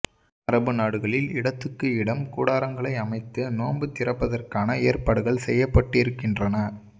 அறபு நாடுகளில் இடத்துக்கு இடம் கூடாரங்களை அமைத்து நோன்பு திரப்பதற்கான ஏற்பாடுகள் செய்யப்பட்டிருக்கின்றன